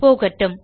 போகட்டும்